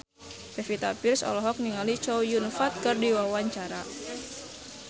Pevita Pearce olohok ningali Chow Yun Fat keur diwawancara